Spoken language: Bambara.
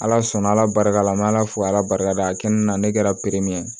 Ala sɔnna ala barika la an me ala fo ala barika da a kɛ nin na ne kɛra min ye